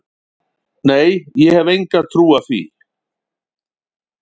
Nei, ég hef enga trú á því.